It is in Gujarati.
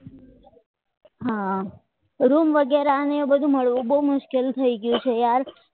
રૂમ વગેરે બધું બહુ મુશ્કેલ થઈ ગયા છે યાર